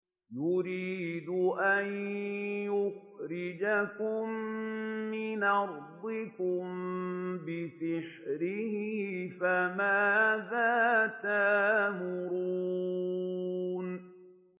يُرِيدُ أَن يُخْرِجَكُم مِّنْ أَرْضِكُم بِسِحْرِهِ فَمَاذَا تَأْمُرُونَ